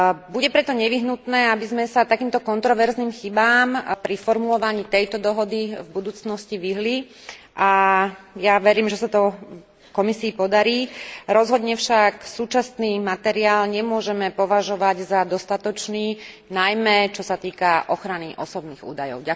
Bude preto nevyhnutné, aby sme sa takýmto kontroverzným chybám pri formulovaní tejto dohody v budúcnosti vyhli a ja verím, že sa to Komisii podarí, rozhodne však súčasný materiál nemôžeme považovať za dostatočný, najmä čo sa týka ochrany osobných údajov.